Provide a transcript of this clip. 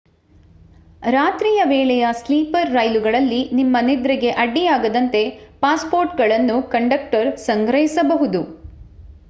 ರಾತ್ರಿ ವೇಳೆಯ ಸ್ಲೀಪರ್ ರೈಲುಗಳಲ್ಲಿ ನಿಮ್ಮ ನಿದ್ರೆಗೆ ಅಡ್ಡಿಯಾಗದಂತೆ ಪಾಸ್‌ಪೋರ್ಟ್‌ಗಳನ್ನು ಕಂಡಕ್ಟರ್ ಸಂಗ್ರಹಿಸಬಹುದು